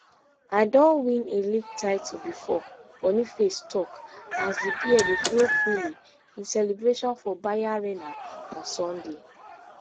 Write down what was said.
i don win a league title before boniface tok as di beer dey flow freely in celebration for bayarena on sunday